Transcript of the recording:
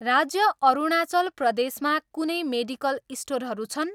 राज्य अरुणाचल प्रदेशमा कुनै मेडिकल स्टोरहरू छन्?